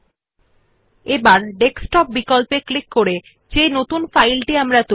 এখন ডায়লগ বাক্সের ডেস্কটপ বিকল্প এ ক্লিক করে নতুন যে ডকুমেন্টটি তৈরী হয়েছে সেটিত়ে যান